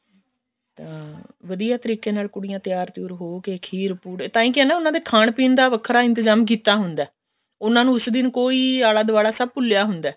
ਤਾਂ ਵਧੀਆ ਤਰੀਕੇ ਨਾਲ ਕੁੜੀਆਂ ਤਿਆਰ ਤਿਉਰ ਹੋ ਕੇ ਖੀਰ ਪੁੜੇ ਤਾਂਹੀ ਕਿਹਾ ਨਾ ਉਹਨਾ ਦੇ ਖਾਣ ਪੀਣ ਦਾ ਵੱਖਰਾ ਇੰਤਜ਼ਾਮ ਕੀਤਾ ਹੁੰਦਾ ਉਹਨਾ ਨੂੰ ਇਸ ਦਿਨ ਕੋਈ ਸਭ ਆਲਾ ਦੁਆਲਾ ਭੁੱਲਿਆ ਹੁੰਦਾ